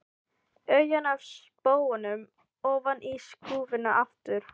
Augun af spóanum ofan í skúffuna aftur.